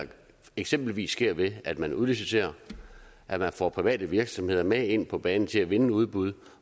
eksempelvis sker ved at man udliciterer at man får private virksomheder med ind på banen til at vinde udbud